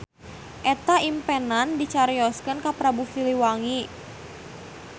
Eta impenan dicarioskeun ka Prabu silihwangi.